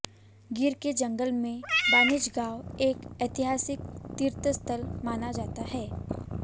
गिर के जंगल में बानेज गांव एक एतिहासिक तीर्थ स्थल माना जाता है